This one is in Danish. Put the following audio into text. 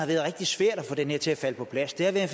rigtig svært at få den her til at falde på plads det har været